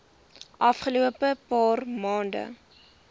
afgelope paar maande